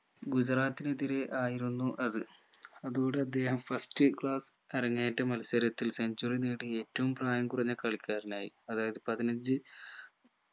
ഗുജറാത്തിനെതിരെ ആയിരുന്നു അത് അതോടെ അദ്ദേഹം first class അരങ്ങേറ്റ മത്സരത്തിൽ centuary നേടിയ ഏറ്റവും പ്രായം കുറഞ്ഞ കളിക്കാരനായി അതായത് പതിനഞ്ച്‌